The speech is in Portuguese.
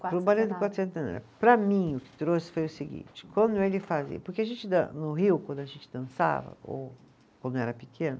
Para o Balé do, para mim, o que trouxe foi o seguinte, quando ele fazia, porque a gente dan, no Rio, quando a gente dançava, ou quando eu era pequena,